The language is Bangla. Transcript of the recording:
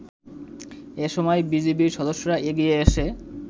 এসময় বিজিবির সদস্যরা এগিয়ে এসে